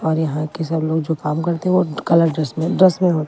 और यहाँ के सब लोग जो काम करते हैं वो कलर ड्रेस में ड्रेस में होते--